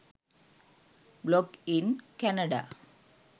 blog in canada